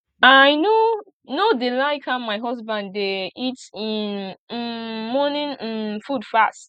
i no no dey like how my husband dey eat im um morning um food fast